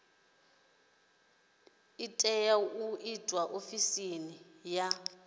tea u itwa ofisini ya